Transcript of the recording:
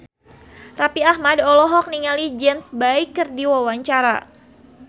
Raffi Ahmad olohok ningali James Bay keur diwawancara